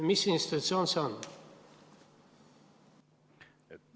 Mis institutsioon see on?